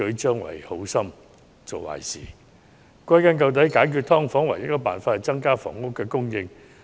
歸根究底，解決"劏房"的唯一方法是增加房屋供應。